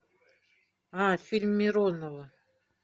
а фильм миронова